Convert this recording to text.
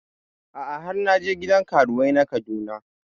A'a har na je gidan karuwai na Kaduna